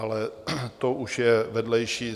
Ale to už je vedlejší.